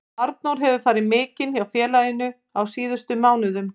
Arnór hefur farið mikinn hjá félaginu á síðustu mánuðum.